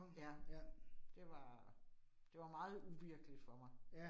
Ja. Det var, det var meget uvirkeligt for mig